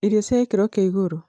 irio cia gĩkĩro kĩa igũrũ